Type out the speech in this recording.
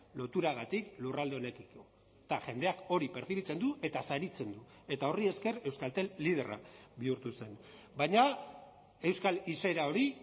loturagatik lurralde honekiko eta jendeak hori pertzibitzen du eta saritzen du eta horri esker euskaltel liderra bihurtu zen baina euskal izaera hori